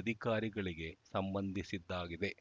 ಅಧಿಕಾರಿಗಳಿಗೆ ಸಂಬಂಧಿಸಿದ್ದಾಗಿದೆ